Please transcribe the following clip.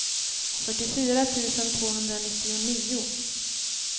fyrtiofyra tusen tvåhundranittionio